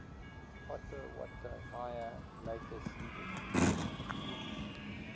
potawatomi later ceded